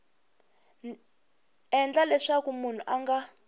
endla leswaku munhu a nga